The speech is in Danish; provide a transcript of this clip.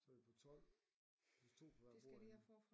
Så er vi på 12 plus 2 på hver bordende